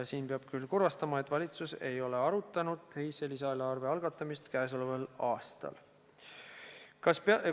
Ma peab teid küll kurvastama ja ütlema, et valitsus ei ole arutanud teise lisaeelarve algatamist käesoleval aastal.